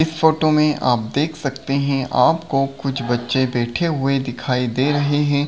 इस फोटो में आप देख सकते हैं आपको कुछ बच्चे बैठे हुए दिखाई दे रहे हैं।